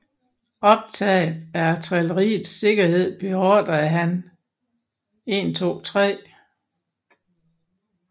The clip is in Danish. Optaget af artilleriets sikkerhed beordrede han 123